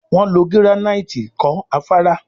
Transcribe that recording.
Wón ló giranaiti kò Afárá